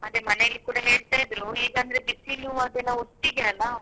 ಅದೆ ಮನೇಲಿ ಕೂಡ ಹೇಳ್ತಿದ್ರು ಈಗಂದ್ರೆ ಬಿಸಿಲು ಅದೆಲ್ಲ ಒಟ್ಟಿಗೆ ಅಲ್ಲ.